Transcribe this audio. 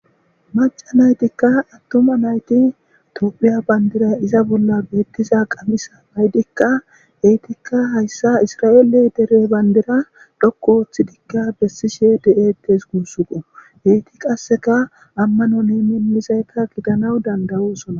Maaca naytikka attoma nayti tophiya bayndira iza bolla beettiza qamisa naydikka heytikka hayssa isra7eele dere bayndira dhokko ooththi dikka bessishe de7eetes guussuqo heyti qasseka ammanon emenizaykka gidanaw dandayusona.